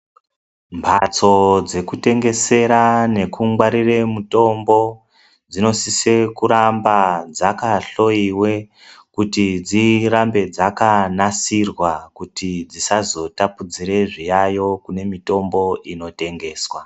Mphatso dzekutengesera nokungwarire mutombo, dzinosise kuramba dzakahloyiwe, kuti dzirambe dzakanasirwa, kuti dzisazotapudzire zviyayo kune mitombo inotengeswa.